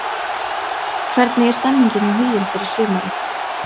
Hvernig er stemningin hjá Huginn fyrir sumarið?